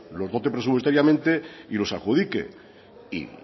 los dote presupuestariamente y los adjudique y